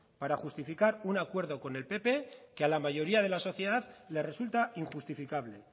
para justificar un acuerdo con el pp que a la mayoría de la sociedad le resulta injustificable